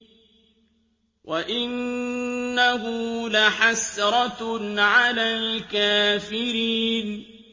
وَإِنَّهُ لَحَسْرَةٌ عَلَى الْكَافِرِينَ